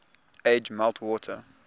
age melt water